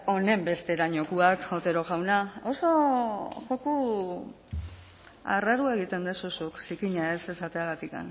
honenbesterainokoak otero jauna oso joku arraroa egiten duzu zuk zikina ez esateagatik